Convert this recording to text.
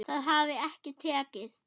Það hafi ekki tekist.